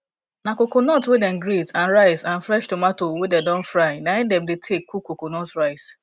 na coconut wey dem grate and rice and fresh tomatoes wey dey don fry na im dey take dey cook coconut rice